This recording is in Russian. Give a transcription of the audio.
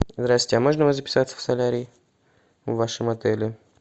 здравствуйте а можно у вас записаться в солярий в вашем отеле